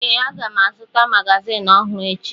Ee, aga m azụta magazịn ọhụrụ echi.